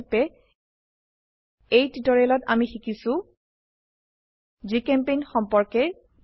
সংক্ষেপে এই টিউটোৰিয়েলত আমি শিকিছো জিচেম্পেইণ্ট সম্পৰ্কে